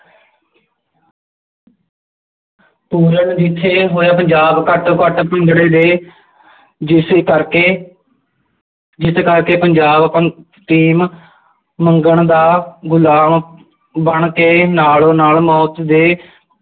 ਪੂਰਨ ਜਿੱਥੇ ਹੋਇਆ ਪੰਜਾਬ ਘੱਟੋ ਘੱਟ ਦੇ ਜਿਸ ਕਰਕੇ ਜਿਸ ਕਰਕੇ ਪੰਜਾਬ scheme ਮੰਗਣ ਦਾ ਗੁਲਾਮ ਬਣ ਕੇ ਨਾਲੋਂ ਨਾਲ ਮੌਤ ਦੇ